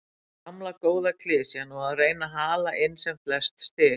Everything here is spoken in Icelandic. Gamla góða klisjan og að reyna að hala inn sem flest stig.